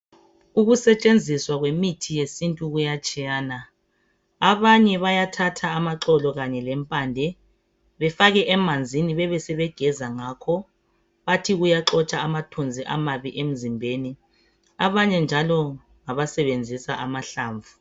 Ukusetshenziswa kwemithi yesintu kuyatshiyana. Abanye bayathatha amaxolo kanye lempande bafake emanzini bebesebegeza ngakho bathi kuyaxotsha amathunzi amabi emzimbeni, abanye njalo ngabasebenzisa amahlamvu.